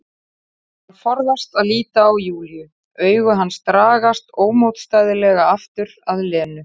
Hann forðast að líta á Júlíu, augu hans dragast ómótstæðilega aftur að Lenu.